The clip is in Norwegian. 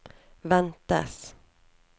ventes